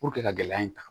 ka gɛlɛya in ta